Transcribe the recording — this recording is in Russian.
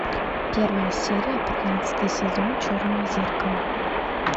первая серия пятнадцатый сезон черное зеркало